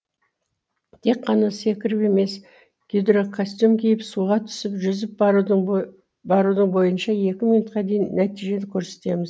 тек қана секіріп емес гидрокостюм киіп суға түсіп жүзіп барудың бойынша екі минутқа дейін нәтижен көрсетеміз